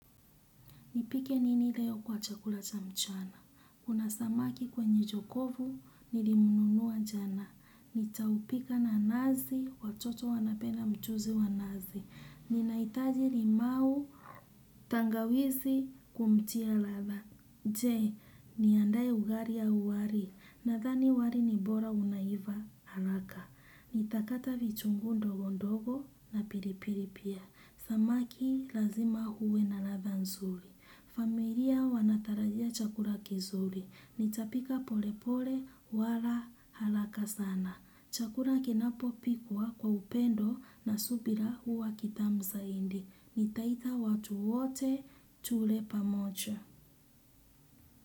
Nipike nini leo kwa chakula cha mchana? Kuna samaki kwenye jokofu nilimnunua jana, nitaupika na nazi, watoto wanapenda mchuzi wa nazi, ninahitaji limao, tangawizi kumtia ladha. Je, niandae ugali au wali? Nadhani wali ni bora unaiva haraka. Nitakata vitunguu ndogo ndogo na pilipili pia. Samaki lazima huwe na ladha nzuri. Familia wanatarajia chakura kizuri. Nitapika pole pole wala haraka sana. Chakula kinapopikwa kwa upendo na subira, huwa kitamu zaidi. Nitaita watu wote tule pamoja.